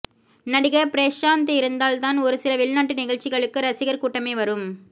நடிகர் பிரேஷாந்த் இருந்தால் தான் ஒரு சில வெளிநாட்டு நிகழ்ச்சிகளுக்கு ரசிகர் கூட்டமே வரும்